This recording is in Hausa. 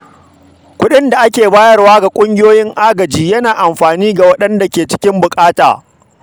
Kuɗin da ake bayarwa ga ƙungiyoyin agaji yana amfani ga waɗanda ke cikin buƙata.